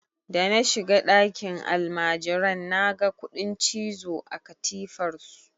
Da na shiga ɗakin almajiran naga kuɗin cizo a katifar su.